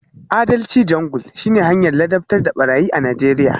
Adalci Jungle shine hanyar ladabtar da barayi a Najeriya